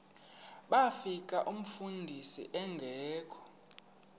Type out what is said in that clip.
bafika umfundisi engekho